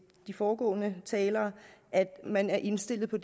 de foregående talere at man er indstillet på